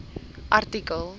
artikel